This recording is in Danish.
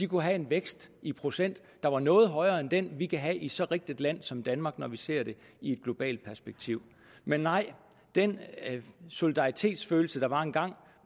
kunne have en vækst i procent der var noget højere end den vi kan have i så rigt et land som danmark når vi ser det i et globalt perspektiv men nej den solidaritetsfølelse der var engang